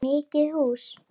Var það mikið hús.